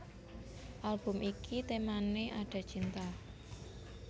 Album iki temané Ada Cinta